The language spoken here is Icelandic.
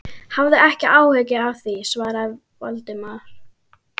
Hafðu ekki áhyggjur af því- svaraði Valdimar.